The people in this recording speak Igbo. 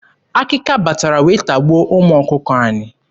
Akịka batara wee tagbuo ụmụ ọkụkọ anyị.